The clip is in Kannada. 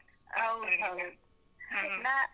.